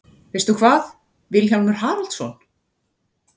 Veistu hvað, Vilhjálmur Haraldsson?